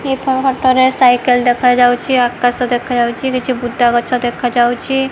ଏହି ଫୋଟୋ ରେ ସାଇକେଲ ଦେଖାଯାଉଚି ଆକାଶ ଦେଖାଯାଉଚି କିଛି ବୁଦା ଗଛ ଦେଖାଯାଉଚି।